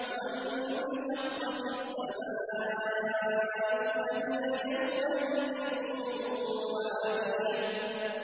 وَانشَقَّتِ السَّمَاءُ فَهِيَ يَوْمَئِذٍ وَاهِيَةٌ